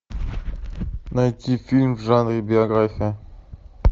найти фильм в жанре биография